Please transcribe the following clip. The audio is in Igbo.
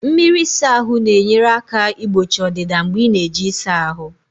Mmiri ịsa ahụ na-enyere aka igbochi ọdịda mgbe ị na-eji ịsa ahụ